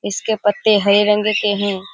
इसके पत्ते हरे रंग के हैं।